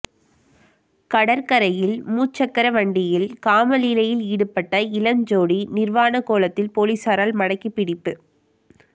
கடற்கரையில் மூச்சக்கர வண்டியில் காமலீலையில் ஈடுபட்ட இளம் ஜோடி நிர்வாணக் கோலத்தில் பொலிஸாரால் மடக்கி பிடிப்பு